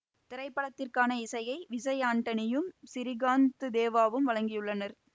திரைப்படத்திற்கான இசையை விசய் ஆண்டனியும் சிறீகாந்து தேவாவும் வழங்கியுள்ளனர்